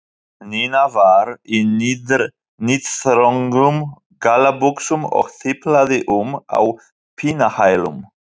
Nína var í níðþröngum gallabuxum og tiplaði um á pinnahælum.